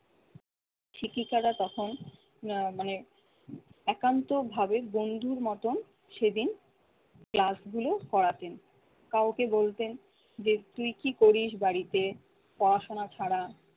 শিক্ষিকারা তখন আহ মানে একান্তভাবে বন্ধুর মতন সেদিন class গুলো করাতেন। কাউকে বলতেন যে তুই কি করিস বাড়িতে পড়াশোনা ছাড়া?